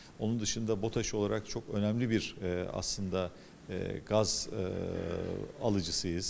Onun xaricində BOTAŞ olaraq çox önəmli bir eee əslində eee qaz eee alıcısıyıq.